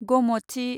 ग'मथि